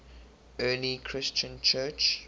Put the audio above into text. early christian church